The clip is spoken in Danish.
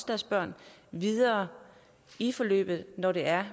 deres børn videre i forløbet når det er